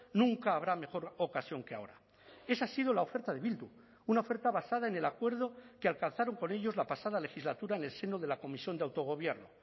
nunca habrá mejor ocasión que ahora esa ha sido la oferta de bildu una oferta basada en el acuerdo que alcanzaron con ellos la pasada legislatura en el seno de la comisión de autogobierno